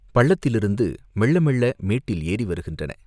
பள்ளத்திலிருந்து மெள்ள மெள்ள மேட்டில் ஏறி வருகின்றன.